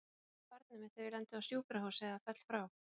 Hvað verður um barnið mitt ef ég lendi á sjúkrahúsi eða ég fell frá?